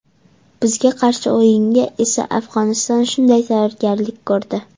Bizga qarshi o‘yinga esa Afg‘oniston shunday tayyorgarlik ko‘rdi”.